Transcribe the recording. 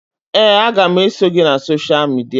Ee, aga m eso gị na sosha midia